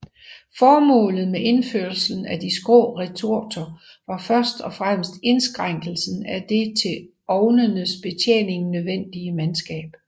Formålet med indførelsen af de skrå retorter var først og fremmest indskrænkelse af det til ovnenes betjening nødvendige mandskab